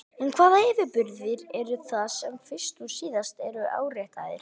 En hvaða yfirburðir eru það sem fyrst og síðast eru áréttaðir?